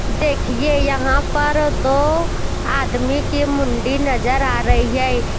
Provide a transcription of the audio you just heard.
देखिए यहां पर दो आदमी के मुंडी नजर आ रही है।